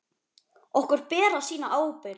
Okkur ber að sýna ábyrgð.